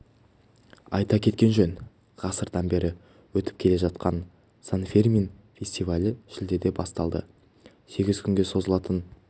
айта кеткен жөн ғасырдан бер өтіп келе жатқан сан-фермин фестивалі шілдеде басталды сегіз күнге созылатын